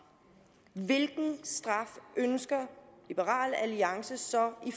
hvilken straf ønsker liberal alliance så i